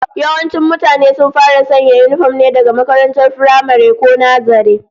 Yawancin mutane sun fara sanya yinifom ne daga makarantar firamare, ko nazare